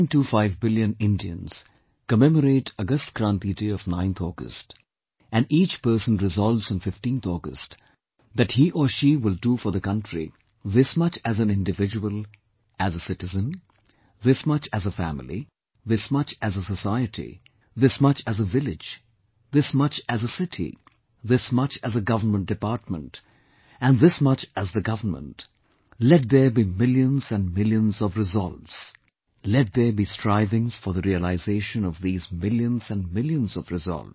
25 billion Indians, commemorate Agast Kranti Day of 9th August, and each person resolves on 15th August, that he or she will do for the country, this much as an individual, as a citizen, this much as a family, this much as a society, this much as a village, this much as a city, this much as a government department, and this much as the government; let there be millions and millions of resolves; let there be strivings for the realisation of these millions and millions of resolves